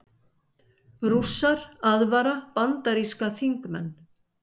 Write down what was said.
Rússar aðvara bandaríska þingmenn